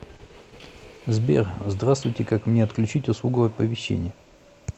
сбер здравствуйте как мне отключить услугу оповещение